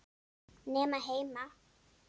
Nema heima.